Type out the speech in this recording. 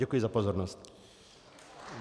Děkuji za pozornost.